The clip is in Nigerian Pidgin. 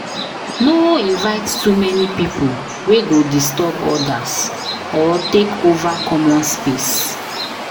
No invite too many people wey go disturb others or take over common space.